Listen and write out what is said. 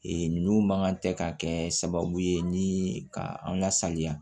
Ee nunnu mankan tɛ ka kɛ sababu ye ni ka an ka sanuya